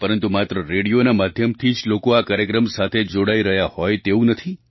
પરંતુ માત્ર રેડિયોના માધ્યમથી જ લોકો આ કાર્યક્રમ સાથે જોડાઈ રહ્યા હોય તેવું નથી